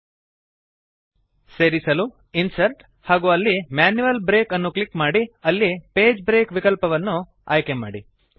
ಸೇರಿಸಲು ಇನ್ಸರ್ಟ್ ಹಾಗೂ ಅಲ್ಲಿ ಮ್ಯಾನ್ಯುಯಲ್ ಬ್ರೇಕ್ ಅನ್ನು ಕ್ಲಿಕ್ ಮಾಡಿ ಅಲ್ಲಿ ಪೇಜ್ ಬ್ರೇಕ್ ವಿಕಲ್ಪವನ್ನು ಆಯ್ಕೆಮಾಡಿ